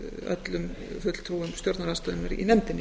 öllum fulltrúum stjórnarandstöðunnar í nefndinni